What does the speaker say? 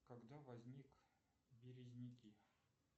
когда возник березняки